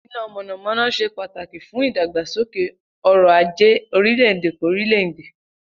Iná mònàmóná se pàtàkí fún ìdàgbàsókè orò ajé orílè-èdè k'órílè-èdè